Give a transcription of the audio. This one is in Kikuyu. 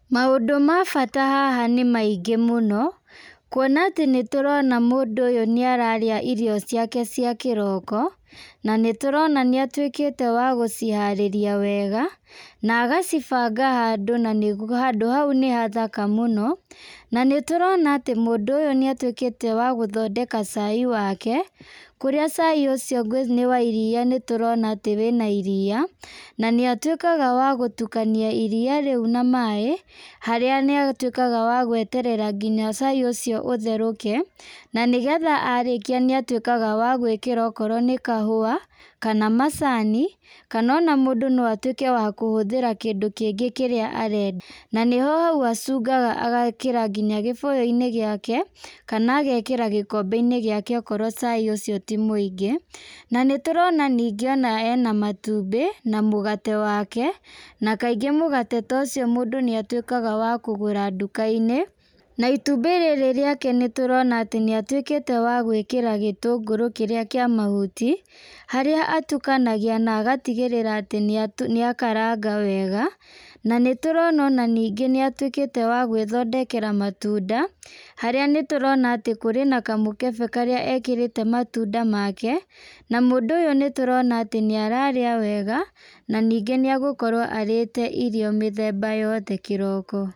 Maũndũ ma bata haha nĩ maingĩ mũno, kuona atĩ nĩtũrona mũndũ ũyũ nĩ ararĩa irio ciake cia kĩroko , na nĩtũrona nĩ atwĩkĩte wa gũciharĩria wega, na agacibanga handũ, na handũ hau nĩ hathaka mũno, na nĩ tũrona atĩ mũndũ ũyũ nĩ atwĩkĩte wa gũthondeka cai wake, kũrĩa cai wake nĩ wa iria, nĩtũrona atĩ wĩna iria, na nĩ atwĩkaga wa gũtukania iria rĩu na maaĩ, harĩa nĩ atwĩkaga wa gweterera nginya cai ũcio ũtherũke, na nĩgetha arĩkia nĩ atwĩkaga wa gwĩkĩra okorwo nĩ kahua, kana macani, kana ona mũndũ no atwĩke wa kũhũthĩra kĩndũ kĩngĩ kĩrĩa arenda, na nĩho hau acungaga agekĩra nginya gĩbũyũ-inĩ gĩake, kana agekĩra gĩkombe-inĩ gĩake, akorwo cai ũcio to mũingĩ, na nĩtũrona ningĩ ena matumbĩ na mũgate wake, na kaingĩ mũgate ta ũcio mũndũ nĩ atwĩkaga wa kũgũra nduka-inĩ, na itumbĩ rĩrĩ nĩngĩ nĩ atwĩke wa gwĩkĩra gĩtũngũrũ kĩrĩa kĩa mahuti, harĩa atukanagia na agatigĩrĩra atĩ nĩ akaraga wega , na nĩtũrona ona ningĩ nĩ atwĩkĩte wa gwĩthondekera matunda, harĩa nĩtũrona atĩ nĩkũrĩ na kamũkebe karĩa ekĩrĩte matunda make, na mũndũ ũyũ nĩtũrona atĩ nĩ ararĩa wega , na ningĩ nĩ agũkorwo arĩte irio mĩthemba yothe kĩroko.